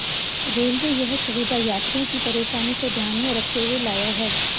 railway यह सुविधा यात्रियों की परेशानी को ध्यान में रखते हुए लाया है